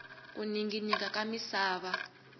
ku ninginika ka misava